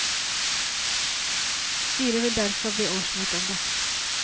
Styret vil derfor be årsmøtet om det.